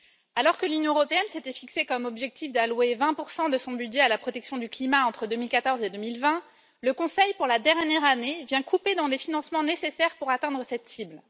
Alors que l'Union européenne s'était fixé comme objectif d'allouer 20 de son budget à la protection du climat entre 2014 et 2020, le Conseil, pour la dernière année, vient couper dans les financements nécessaires pour atteindre cette cible.